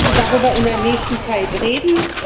Wir müssen also darüber in der nächsten Zeit reden.